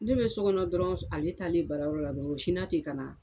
Ne be so kɔnɔ dɔrɔn s ale taalen baarayɔrɔ la dɔrɔ o sinna te ka na